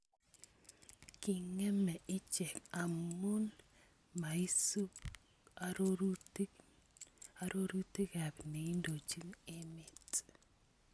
King�eme ichek amun maisuub arorutiikab neindochiin emeet